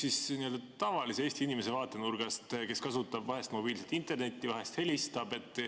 Mina küsin tavalise Eesti inimese vaatenurgast, kes kasutab vahel mobiilset internetti, vahel helistab.